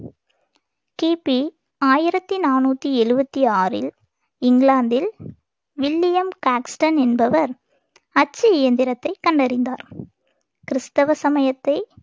கிபி ஆயிரத்தி நானூத்தி எழுபத்தி ஆறில் இங்கிலாந்தில் வில்லியம் காக்ஸ்டன் என்பவர் அச்சு இயந்திரத்தை கண்டறிந்தார் கிறிஸ்தவ சமயத்தை